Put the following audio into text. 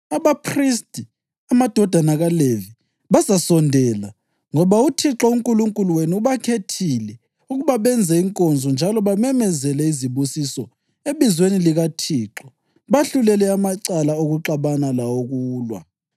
Abaphristi, amadodana kaLevi, bazasondela, ngoba uThixo uNkulunkulu wenu ubakhethile ukuba benze inkonzo njalo bamemezele izibusiso ebizweni likaThixo bahlulele amacala okuxabana lawokulwa.